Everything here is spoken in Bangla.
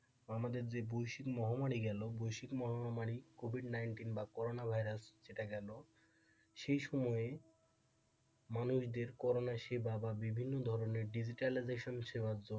আমাদের যে বৈশিক মহামারী গেল, বৈশিক মহামারী কোভিদ নাইনটিন বা করোনা ভাইরাস সেটা গেল, সেই সময়ে মানুষদের করোনা সেবা বা বিভিন্ন ধরনের digitalization সেবার জন্য,